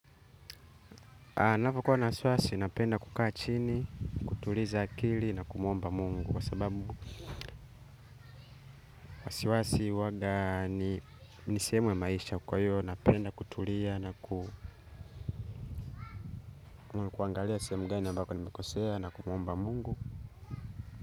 Napokuwa na wasiwasi napenda kukaa chini, kutuliza akili na kumuomba mungu kwa sababu wasiwasi huwaga ni, ni sehemu ya maisha kwa hiyo napenda kutulia na kuangalia sehemu gani ambako nimekosea na kumuomba mungu.